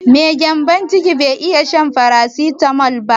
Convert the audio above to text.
Mai gyanbon ciki zai iya shan farasitamol?